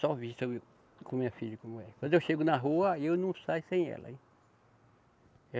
Só vista viu com minha filha como é. Quando eu chego na rua, aí eu não saio sem ela, hein.